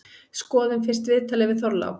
Skoðum fyrst viðtalið við Þorlák.